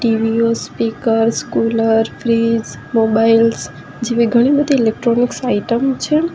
TV ઓ speakers cooler fridge mobiles જેવી ઘણી બધી ઇલેક્ટ્રોનિક્સ આઇટમ છે.